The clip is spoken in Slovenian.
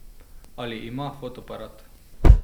Ali ima fotoaparat?